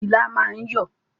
Ilá máa ń yọ̀